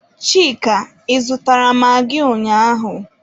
Chika, Ị zụtara magị ụnyaahụ?